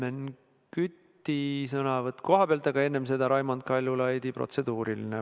Helmen Küti sõnavõtt kohapealt, aga enne seda Raimond Kaljulaidi protseduuriline küsimus.